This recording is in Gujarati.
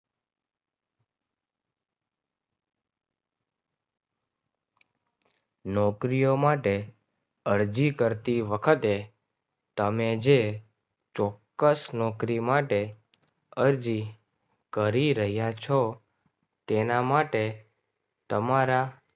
નોકરીઓ માટે અરજી કરતી વખતે તમે જઈને ચોક્કસ નોકરી માટે અરજી કરી રહ્યા છો તેના માટે તમારા